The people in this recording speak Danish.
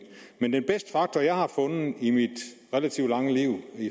den bedste faktor jeg har fundet i mit relativt lange liv i